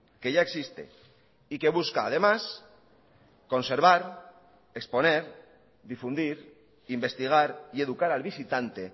que ya existe y que busca además conservar exponer difundir investigar y educar al visitante